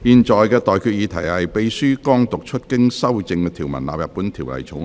我現在向各位提出的待決議題是：秘書剛讀出經修正的條文納入本條例草案。